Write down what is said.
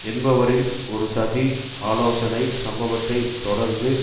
என்பவரின் ஒரு சதி ஆலோசனை சம்பவத்தை தொடர்ந்து